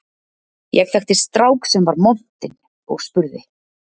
Ég þekkti strák sem var montinn og spurði